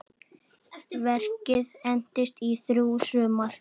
Verkið entist í þrjú sumur.